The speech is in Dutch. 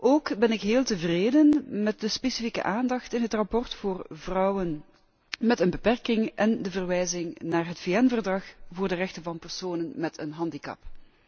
Ook ben ik heel tevreden met de specifieke aandacht in het rapport voor vrouwen met een beperking en de verwijzing naar het VN Verdrag voor de rechten van personen met een handicap.